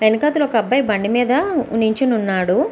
వెనకతల ఒక అబ్బాయి బండి మీద నించుని ఉన్నాడు.